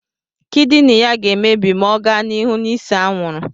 Kịdịnị ya ga-emebi ma ọ ga n'ihu n'ịse anwụrụ